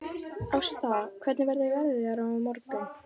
Ásta, hvernig verður veðrið á morgun?